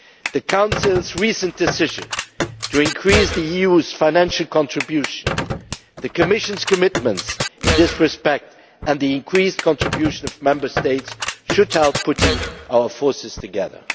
The Council's recent decision to increase the EU's financial contribution, the Commission's commitments in this respect and the increased contribution of Member States should help us in putting our forces together.